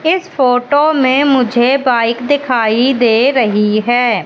इस फोटो में मुझे बाइक दिखाई दे रही है।